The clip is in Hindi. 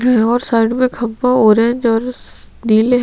कही और साइड मे खंबा हो रहै हैं जारिस नीले--